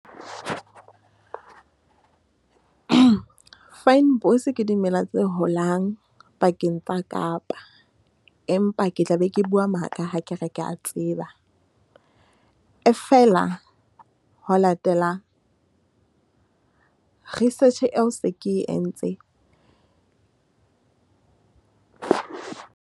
Fynbos ke dimela tse holang pakeng tsa Kapa. Empa ke tla be ke bua maka ha ke re ke ya tseba. E feela ho latela research eo se ke entse.